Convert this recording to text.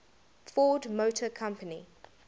ford motor company